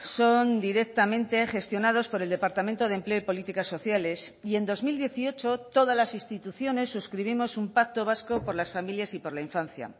son directamente gestionados por el departamento de empleo y políticas sociales y en dos mil dieciocho todas las instituciones suscribimos un pacto vasco por las familias y por la infancia